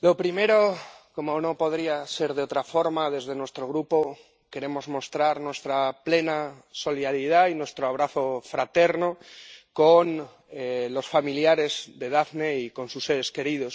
lo primero, como no podría ser de otra forma desde nuestro Grupo queremos mostrar nuestra plena solidaridad y nuestro abrazo fraterno con los familiares de Daphne y con sus seres queridos